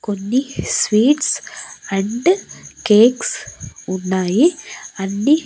కొన్ని sweets and cakes ఉన్నాయి అన్నీ--